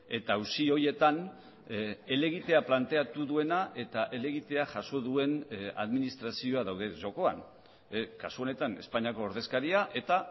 eta auzi horietan helegiteaplanteatu duena eta helegitea jaso duen administrazioa daude jokoan kasu honetan espainiako ordezkaria etah